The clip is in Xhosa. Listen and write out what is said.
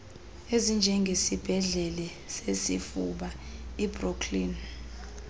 ezinjengesibhedlele sesifuba ibrooklyn